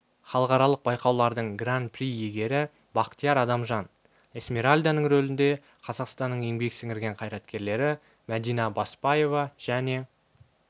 халықаралық байқаулардың гран-при иегері бақтияр адамжан эсмеральданың рөлінде қазақстанның еңбек сіңірген қайраткерлері мәдина баспаева және